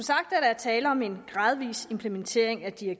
vil man se rigtig